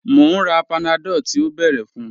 Mo n rà Panadol tí o bẹ́ẹ̀rẹ̀ fun